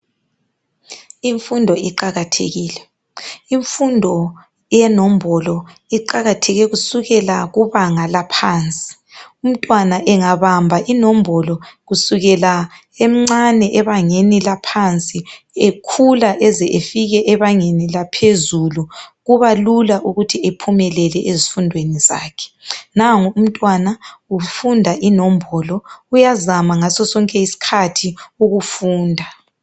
Imfundo iqakathekile . Imfundo yenombolo iqakatheke kusuka kubanga laphansi . Umntwana engabamba inombolo kusukela emncane ebangeni laphansi ekhula eze efike ebangeni laphezulu kubalula ukuthi ephumelele ezifundweni zakhe. Nangu umntwana ufunda inombolo uyazama ngaso sonke isikhathi ukufunda.